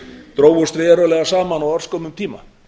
drógust verulega saman á örskömmum tíma